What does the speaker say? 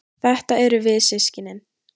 Þetta erum við systkinin.